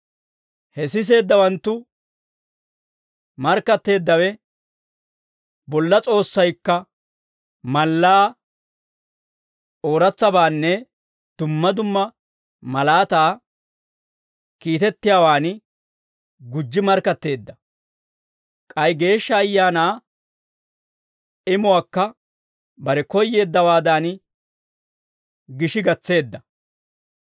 He siseeddawanttu markkatteeddawe bolla S'oossaykka mallaa, ooratsabaanne dumma dumma malaataa kiitettiyaawaan gujji markkatteedda; k'ay Geeshsha Ayaanaa imuwaakka bare koyyeeddawaadan, gishi gatseedda.